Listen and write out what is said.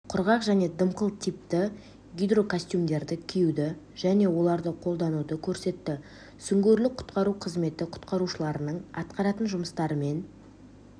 құрғақ және дымқыл типті гидрокостюмдерді киюді және оларды қолдануды көрсетті сүңгуірлік-құтқару қызметі құтқарушыларының атқаратын жұмыстарымен